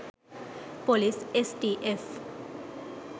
Police STF.